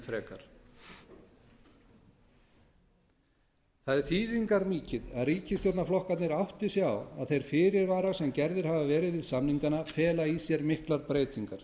frekar það er þýðingarmikið að ríkisstjórnarflokkarnir átti sig á að þeir fyrirvarar sem gerðir hafa verið við samningana fela í sér miklar breytingar